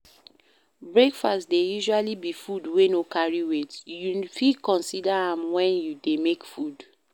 Breakfast dey usually be food wey no carry weight, you fit consider am when you dey make food